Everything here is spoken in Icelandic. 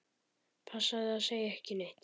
Passaðu að segja ekki neitt.